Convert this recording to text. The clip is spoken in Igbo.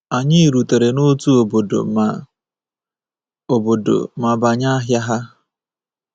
Anyị rutere n’otu obodo ma obodo ma banye ahịa ha.